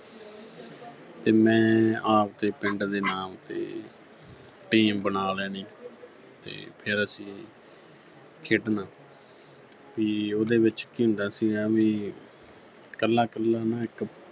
ਤੇ ਮੈਂ ਆਵਦੇ ਪਿੰਡ ਦੇ ਨਾਮ ਉੱਤੇ team ਬਣਾ ਲੈਣੀ ਤੇ ਫਿਰ ਅਸੀਂ ਖੇਡਣਾ ਵੀ ਉਹਦੇ ਵਿੱਚ ਕੀ ਹੁੰਦਾ ਸੀਗਾ ਵੀ ਕੱਲਾ-ਕੱਲਾ ਨਾ ਇੱਕ